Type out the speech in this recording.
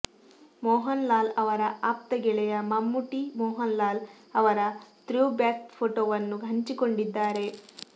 ಮೋಹನ್ ಲಾಲ್ ಅವರ ಆಪ್ತ ಗೆಳೆಯ ಮಮ್ಮುಟ್ಟಿ ಮೋಹನ್ ಲಾಲ್ ಅವರ ಥ್ರೋಬ್ಯಾಕ್ ಫೋಟೋವನ್ನು ಹಂಚಿಕೊಂಡಿದ್ದಾರೆ